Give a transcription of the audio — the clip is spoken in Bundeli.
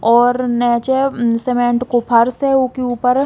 और सीमेंट को फर्श है उके ऊपर --